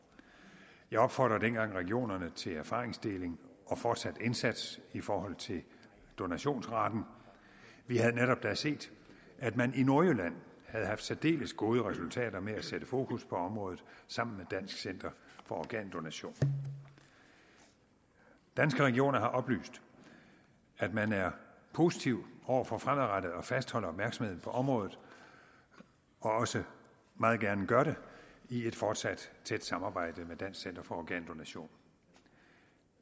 jeg opfordrede dengang regionerne til erfaringsdeling og fortsat indsats i forhold til donationsraten vi havde netop da set at man i nordjylland havde haft særdeles gode resultater med at sætte fokus på området sammen med dansk center for organdonation danske regioner har oplyst at man er positiv over for fremadrettet at fastholde opmærksomheden på området og også meget gerne gør det i et fortsat tæt samarbejde med dansk center for organdonation